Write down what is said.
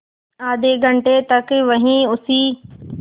आधे घंटे तक वहीं उसी